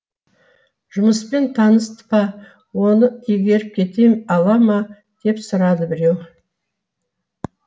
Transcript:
жұмыспен таныс па оны игеріп кете ала ма деп сұрады біреу